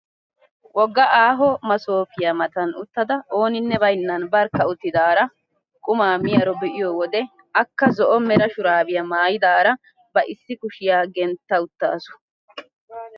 Wogga aaho masoopiyaa matan uttada ooninne baynnan barkka uttidaara qumaa miyaaro be'iyoo wode akka zo'o mera shuraabiyaa maayidara ba issi kushiyaa gentta uttasu.